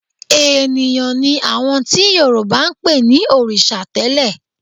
Ènìyàn ni àwọn tí Yorùbá ń pè ní òrìṣà tẹ́lẹ̀